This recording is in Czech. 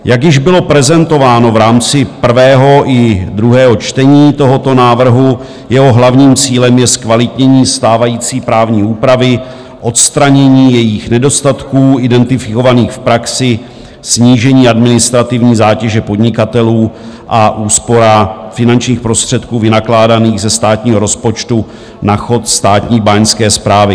Jak již bylo prezentováno v rámci prvého i druhého čtení tohoto návrhu, jeho hlavním cílem je zkvalitnění stávající právní úpravy, odstranění jejích nedostatků identifikovaných v praxi, snížení administrativní zátěže podnikatelů a úspora finančních prostředků vynakládaných ze státního rozpočtu na chod státní báňské správy.